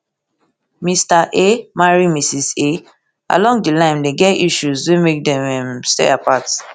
mr a marry mrs a along di line dem get issues wey make dem um stay apart